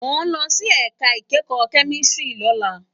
Mó n lòsí èká ikèékò kèmísìtírì lólá